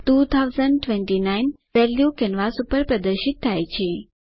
2029 value canvas પર પ્રદર્શિત થાય છે